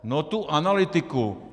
No tu analytiku.